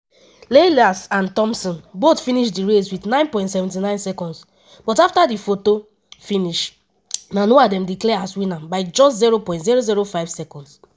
lyles and thomson both finish di race wit 9.79 seconds but afta di photo-finish na noah dem declare as winner by just 0.005 seconds.